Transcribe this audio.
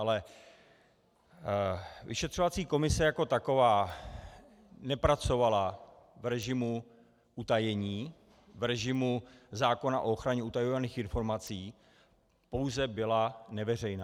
Ale vyšetřovací komise jako taková nepracovala v režimu utajení, v režimu zákona o ochraně utajovaných informací, pouze byla neveřejná.